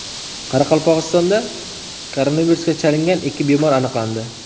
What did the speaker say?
Qoraqalpog‘istonda koronavirusga chalingan ikki bemor aniqlandi.